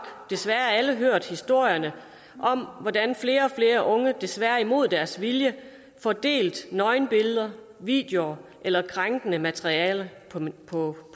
desværre alle hørt historierne om hvordan flere og flere unge desværre imod deres vilje får delt nøgenbilleder videoer eller krænkende materiale på